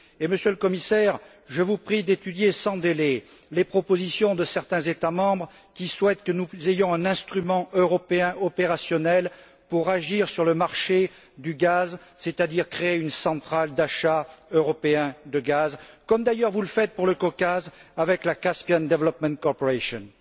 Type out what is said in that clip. Monsieur le Commissaire, je vous prie d'étudier sans délai les propositions de certains États membres qui souhaitent que nous ayons un instrument européen opérationnel pour agir sur le marché du gaz, c'est à dire créer une centrale d'achat européenne de gaz, comme d'ailleurs vous le faites pour le Caucase avec la Caspian Development Corporation